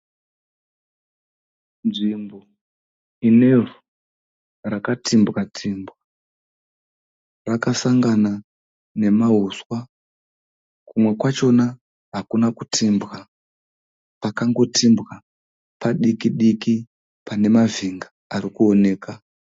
Nzvimbo inevhu rakatimbwatimbwa rakasangana nemahuswa. Kumwe kwachona hakuna kutimbwa. Pakangotimbwa padiki diki pane mavhinga arikuoneka.